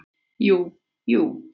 Jú, jú